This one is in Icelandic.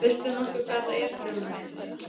Veist þú nokkuð hvað þetta er Grjóni minn.